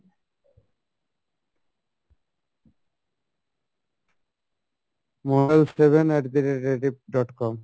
seven at the rate Rediff dot com